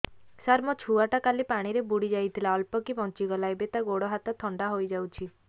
ସାର ମୋ ଛୁଆ ଟା କାଲି ପାଣି ରେ ବୁଡି ଯାଇଥିଲା ଅଳ୍ପ କି ବଞ୍ଚି ଗଲା ଏବେ ତା ଗୋଡ଼ ହାତ ଥଣ୍ଡା ହେଇଯାଉଛି